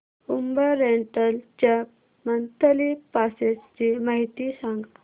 Uber rental च्या monthly passes ची माहिती सांग